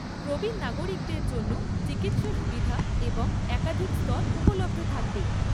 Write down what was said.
প্রবীণ নাগরিকদের জন্য চিকিৎসা সুবিধা এবং একাধিক স্তর উপলব্ধ থাকবে।